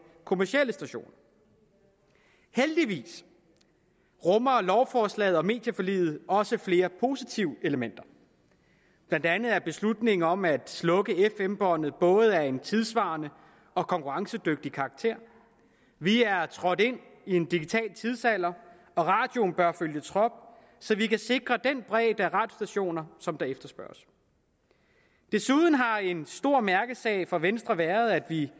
kommercielle stationer heldigvis rummer lovforslaget om medieforliget også flere positive elementer blandt andet er beslutningen om at slukke fm båndet både af en tidssvarende og konkurrencedygtig karakter vi er trådt ind i en digital tidsalder og radioen bør følge trop så vi kan sikre den bredde af radiostationer som der efterspørges desuden har en stor mærkesag for venstre været at vi